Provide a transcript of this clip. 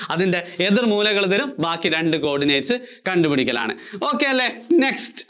അതിന്‍റെ എതിര്‍ മൂലകള്‍ തരും, ബാക്കി രണ്ട് coordinate കണ്ടുപിടിക്കലാണ്. ok അല്ലേ? next